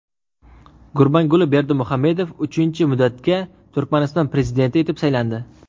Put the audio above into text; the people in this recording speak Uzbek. Gurbanguli Berdimuhamedov uchinchi muddatga Turkmaniston prezidenti etib saylandi.